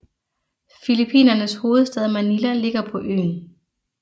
Filippinernes hovedstad Manila ligger på øen